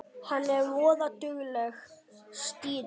Hún er voða dugleg, stýrið.